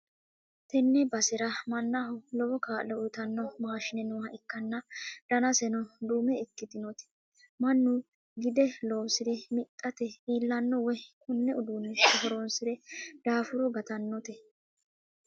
tenne basera mannaho lowo kaa'lo uytanno maashine nooha ikkanna, danaseno duume ikkitinoti mannu gide loosi're mixxate iillanno woyte konne uduunnicho horonsi're daafuro gatannote.